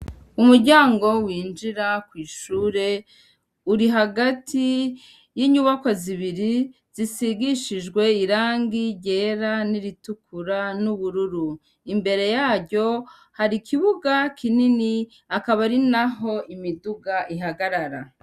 Umuryango winjira kw'ishure uri hagati y'inyubakwa zibiri zisize irangi ryera n'iritukura n'ubururu. Imbere yaryo hari ikibuga kinini akaba ari naho imiduga ihagarara.